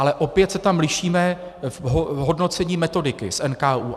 Ale opět se tam lišíme v hodnocení metodiky s NKÚ.